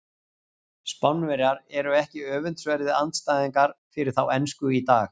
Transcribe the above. Spánverjar eru ekki öfundsverðir andstæðingar fyrir þá ensku í dag.